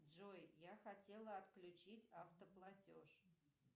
джой я хотела отключить автоплатеж